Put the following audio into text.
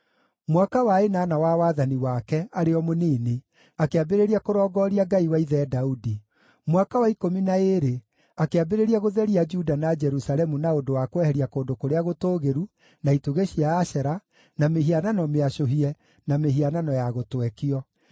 Mwaka wa ĩnana wa wathani wake, arĩ o mũnini, akĩambĩrĩria kũrongooria Ngai wa ithe Daudi. Mwaka wa ikũmi na ĩĩrĩ, akĩambĩrĩria gũtheria Juda na Jerusalemu na ũndũ wa kweheria kũndũ kũrĩa gũtũũgĩru, na itugĩ cia Ashera, na mĩhianano mĩacũhie, na mĩhiano ya gũtwekio.